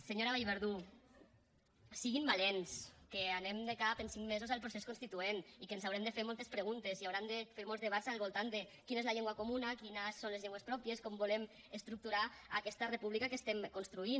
senyora vallverdú siguin valents que anem de cap en cinc mesos al procés constituent i que ens haurem de fer moltes preguntes i hauran de fer molts debats al voltant de quina és la llengua comuna quines són les llengües pròpies com volem estructurar aquesta república que estem construint